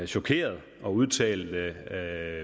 chokeret og udtalte følgende det er